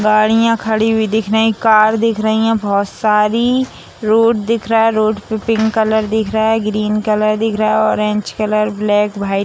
गाड़ियां खड़ी हुई दिख रहे कार दिख रहे हैं बहुत सारी रोड दिख रहा है रोड पे पिंक कलर दिख रहा है ग्रीन कलर दिख रहा है ऑरेंज कलर ब्लैक व्हाइट --